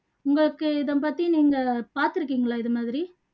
உங்களுக்கு இதை பத்தி நீங்க பாத்துருக்கீங்களா இது மாதிரி